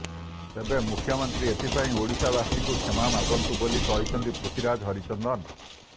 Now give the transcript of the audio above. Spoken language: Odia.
ତେବେ ମୁଖ୍ୟମନ୍ତ୍ରୀ ଏଥିପାଇଁ ଓଡିଶାବାସୀଙ୍କୁ କ୍ଷମା ମାଗନ୍ତୁ ବୋଲି କହିଛନ୍ତି ପୃଥୀରାଜ ହରିଚନ୍ଦନ